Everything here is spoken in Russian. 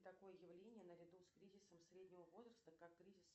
такое явление наряду с кризисом среднего возраста как кризис